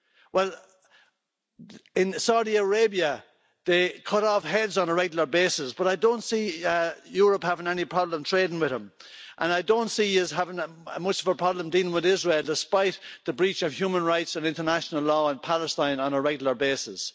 well in Saudi Arabia they cut off heads on a regular basis but I don't see Europe having any problem trading with them. I don't see us having much of a problem dealing with Israel despite the breach of human rights and international law in Palestine on a regular basis.